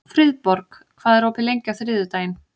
Friðborg, hvað er opið lengi á þriðjudaginn?